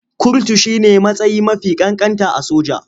Kurtu shi ne matsayi mafi ƙanƙanta a soja.